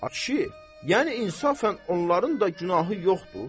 Ay kişi, yəni insafən onların da günahı yoxdur.